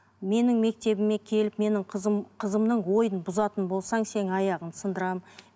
менің мектебіме келіп менің қызым қызымның ойын бұзатын болсаң сенің аяғыңды сындырамын